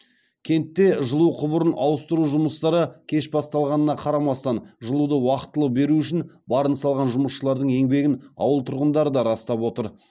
кентте жылу құбырын ауыстыру жұмыстары кеш басталғанына қарамастан жылуды уақытылы беру үшін барын салған жұмысшылардың еңбегін ауыл тұрғындары да растап отыр